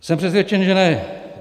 Jsem přesvědčen, že ne.